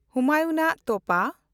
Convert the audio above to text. ᱦᱩᱢᱟᱭᱩᱱᱟᱜ ᱛᱚᱯᱟ